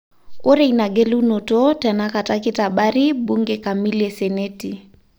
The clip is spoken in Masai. Ore inagelunoto tenakata ketabari bunge kamili e Seneti.